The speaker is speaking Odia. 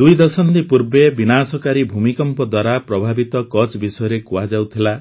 ଦୁଇ ଦଶନ୍ଧି ପୂର୍ବେ ବିନାଶକାରୀ ଭୂମିକମ୍ପ ଦ୍ୱାରା ପ୍ରଭାବିତ କଚ୍ଛ୍ ବିଷୟରେ କୁହାଯାଉଥିଲା